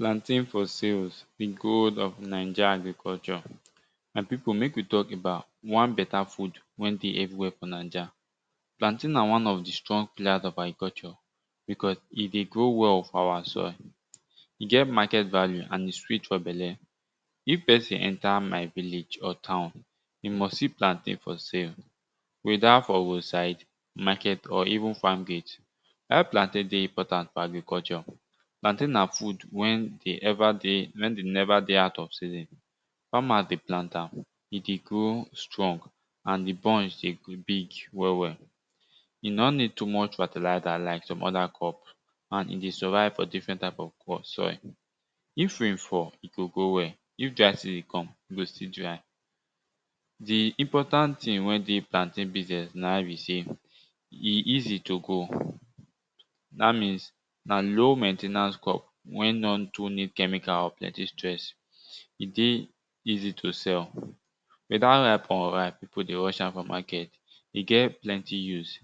Plantain for sales di goal of naija agriculture. My pipu mek we talk about one beta food wen dey everywher fo naija. Plantain na one of di strong pillars of agriculture because e dey grow well for our soil, e get market value and e sweet for belle. If pesin enter my village or town, e must see plantain for sale weda for road side, market or even farm gate. How plantain dey important for agriculture Plantain na food wen de ever dey wen dey neva dey out of season farmers dey plant am, e dey grow strong and di bunch dey big well well. E no need too much fertilizer like some other crop and e dey survive for different kind of soil. If rain fall, e go grow well, if dry season come e go still try. Di important thing wey dey plantain business na be say e easy to grow dat mean na low main ten ance crop wey nor too need chemical or plenti stress. E dey easy to sell, weda ripe or unripe, pipu dey rush am to sell. E get plant use,